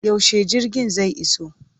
Yaushe jirgin zai iso?